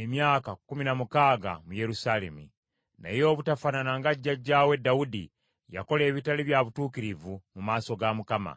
emyaka kkumi na mukaaga mu Yerusaalemi. Naye obutafaanana nga jjajjaawe Dawudi, yakola ebitali bya butuukirivu mu maaso ga Mukama .